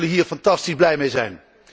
Zij zullen hier fantastisch blij mee zijn.